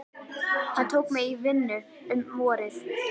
Hann tók mig í vinnu um vorið.